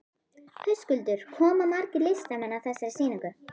Höskuldur, koma margir listamenn að þessari sýningu?